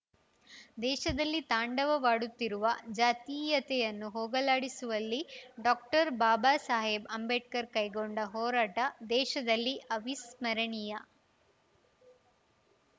ದೇಶದಲ್ಲಿ ತಾಂಡವಾಡುತ್ತಿರುವ ಜಾತೀಯತೆಯನ್ನು ಹೋಗಲಾಡಿಸುವಲ್ಲಿ ಡಾಕ್ಟರ್ಬಾಬಾ ಸಾಹೇಬ್‌ ಅಂಬೇಡ್ಕರ್‌ ಕೈಗೊಂಡ ಹೋರಾಟ ದೇಶದಲ್ಲಿ ಅವಿಸ್ಮರಣೀಯ